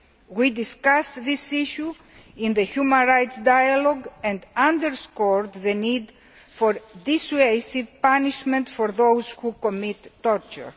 We discussed this issue in the human rights dialogue and underscored the need for dissuasive punishment for those who commit torture.